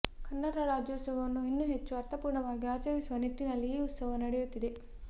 ಕನ್ನಡ ರಾಜ್ಯೋತ್ಸವವನ್ನು ಇನ್ನೂ ಹೆಚ್ಚು ಅರ್ಥಪೂರ್ಣವಾಗಿ ಆಚರಿಸುವ ನಿಟ್ಟಿನಲ್ಲಿ ಈ ಉತ್ಸವ ನಡೆಯುತ್ತಿದೆ